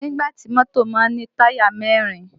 Nígbà tí mọ́tò má ń ní táyà mẹ́rin